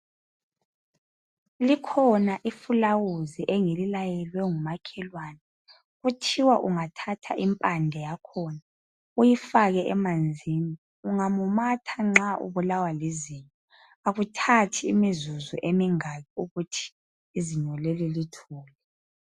Likhona ifulawuzi engililayelwe ngumakhelwane. Kuthiwa ungathatha impande yakhona uyifake emanzini ungamumatha nxa ubulawa lizinyo akuthathi imizuzu emingaki ukuthi izinyo leli lithule.